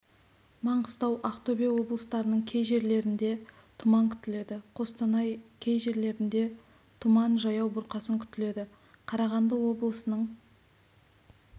маңғыстау ақтөбе облыстарының кей жерлерінде тұман күтіледі қостанай кей жерлерінде тұман жаяу бұрқасын күтіледі қарағанды облысының